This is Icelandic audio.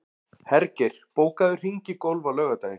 Hergeir, bókaðu hring í golf á laugardaginn.